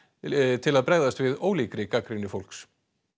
til að bregðast við ólíkri gagnrýni fólks